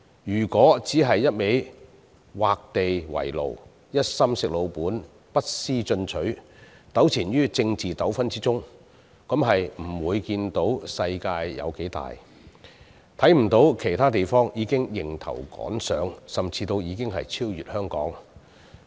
如果只顧畫地為牢，一心"食老本"，不思進取，糾纏於政治爭拗之中，便不會看到世界有多大，亦看不到其他地方已經迎頭趕上，甚至已超越香港。